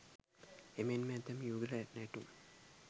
එමෙන්ම ඇතැම් යුගල නැටුම්